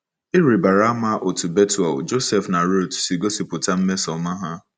Ị̀ rịbara ama otú Bethuel, Joseph, na Ruth si gosipụta mmesoọma ha?